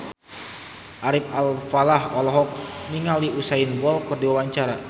Ari Alfalah olohok ningali Usain Bolt keur diwawancara